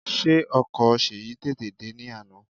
Ṣé ọkọ̀ Ṣèyí tètè dè ní àná?